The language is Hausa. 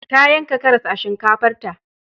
Ta yanka karas a shinkafarta